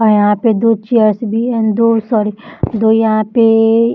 और यहाँ पे दो चेयर्स भी हैं दो सॉरी दो यहाँ पे --